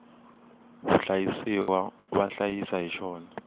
vahlayisiwa va hlayisa hi xona